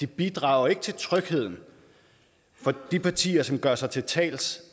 bidrager til trygheden når der er partier som gør sig til talsmand